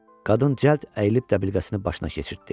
Qadın cəld əyilib dəbilqəsini başına keçirtdi.